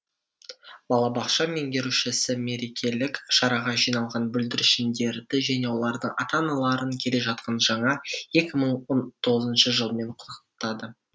балабақша меңгерушісі мерекелік шараға жиналған бүлдіршіндерді және олардың ата аналарын келе жатқан жаңа екі мың он тоғызыншы жылмен құттықтады